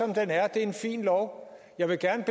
det er en fin lov jeg vil gerne